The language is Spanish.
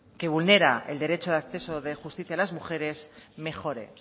que vulnera el derecho de acceso de justicia a las mujeres mejore